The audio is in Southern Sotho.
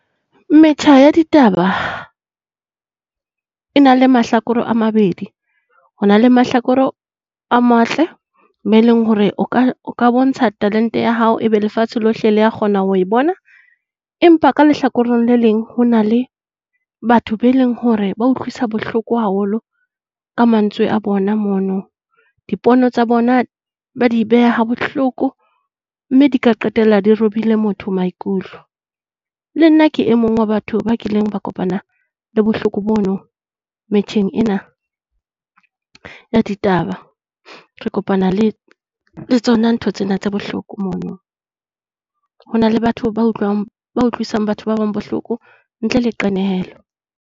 Metjha ya ditaba e na la mahlakore a mabedi. Ho na la mahlakoro a matle mo eleng hore o ka o ka bontsha talente ya hao ebe lefatshe lohle lea kgona ho e bona. Empa ka lehlakoreng le leng, ho na le batho be leng hore ba utlwisa bohloko haholo ka mantswe a bona mono. Dipono tsa bona ba di beha bohloko mme di ka qetella di robile motho maikutlo. Le nna ke e mong wa batho ba kileng ba kopana le bohloko bono metjheng ena ya ditaba. Re kopana le tsona ntho tsena tse bohloko mono. Hona le batho ba utlwang, ba utlwisa batho ba bang bohloko ntle le qenehelo.